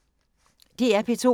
DR P2